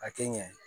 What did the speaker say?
A kɛ ɲɛ